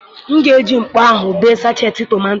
M ga-eji mkpa ahụ bee sachetị tọmatọ.